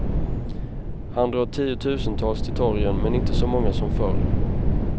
Han drar tiotusentals till torgen, men inte så många som förr.